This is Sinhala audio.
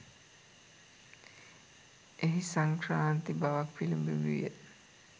එහි සංක්‍රාන්ති බවක් පිළිබිඹු විය.